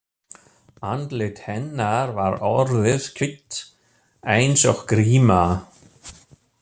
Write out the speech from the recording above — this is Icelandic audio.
Andlit hennar var orðið hvítt eins og gríma.